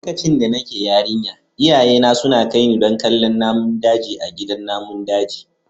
Lokacin da nake yarinya iyayena suna kai ni don kallon namun daji a gidan namun daji.